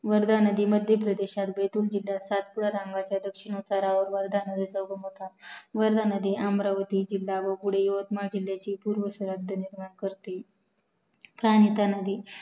वर्धा नदी मध्य प्रदेशातिल बैतुल जिल्ह्यात सातपुडा रंगाच्या दक्षिण उतारावर वर्धा नदीचा उगम होतो वर जाताना अमरावती जिल्हा व यातमाळ जिल्हाची पूर्व सरहद्द निर्माण करते नदी